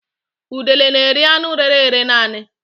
Udele n'eri anụ rére ere naanị